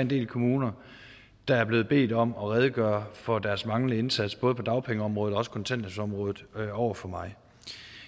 en del kommuner der er blevet bedt om at redegøre for deres manglende indsats både på dagpengeområdet og også kontanthjælpsområdet over for mig